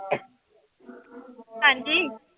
ਹਾਂਜੀ।